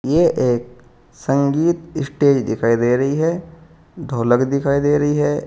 यह एक संगीत स्टेज दिखाई दे रही है ढोलक दिखाई दे रही है।